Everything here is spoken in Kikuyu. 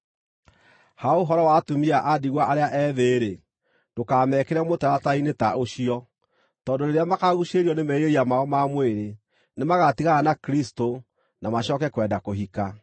Ha ũhoro wa atumia a ndigwa arĩa ethĩ-rĩ, ndũkamekĩre mũtaratara-inĩ ta ũcio, tondũ rĩrĩa makaguucĩrĩrio nĩ merirĩria mao ma mwĩrĩ, nĩmagatigana na Kristũ na macooke kwenda kũhika.